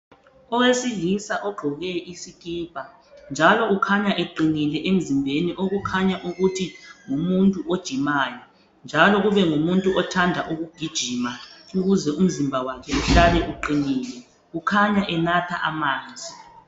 Owesilísa ogqoke isikipa .Njalo ukhanya eqinile emzimbeni okukhanya ukuthi ngumuntu ojimayo . Njalo kubengumuntu othanda ukugijima ukuze umzimba wakhe uhlale uqinile . Ukhanya enatha amanzi .